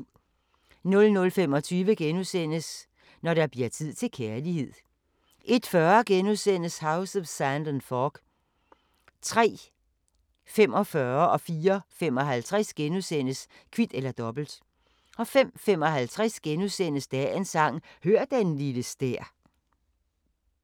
00:25: Når der bliver tid til kærlighed * 01:40: House of Sand and Fog * 03:45: Kvit eller Dobbelt * 04:55: Kvit eller Dobbelt * 05:55: Dagens Sang: Hør den lille stær *